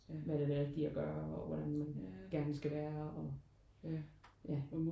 Hvad der er det rigtige at gøre og hvordan man gerne skal være og ja